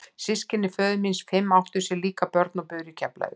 Systkini föður míns fimm áttu sér líka börn og buru í Keflavík.